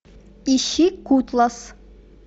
ищи кутласс